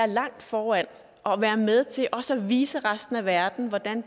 langt foran og være med til også at vise resten af verden hvordan